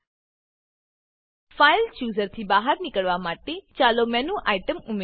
file chooser file chooser થી બહાર નીકળવા માટે ચાલો મેનુ આઇટમ ઉમેરીએ